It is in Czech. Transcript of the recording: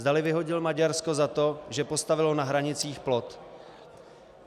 Zdali vyhodil Maďarsko za to, že postavilo na hranicích plot.